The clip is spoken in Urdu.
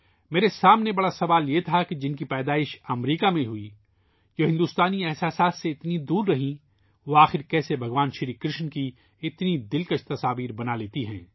میرے سامنے سب سے بڑا سوال یہ تھا کہ جن کی پیدائش امریکہ میں ہوئی ہے ، وہ ہندوستانی جذبات سے اتنی رہیں ، وہ آخر کیسے بھگوان کرشن کی اتنی خوبصورت تصاویر بنا لیتی ہیں